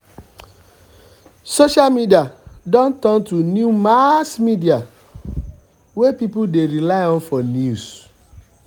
social media don turn to new mass media wey people dey rely on for news.